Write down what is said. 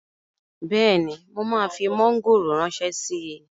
Bẹ́ẹ̀ni, mo máa fi mọ́ngòrò ránṣẹ́ síi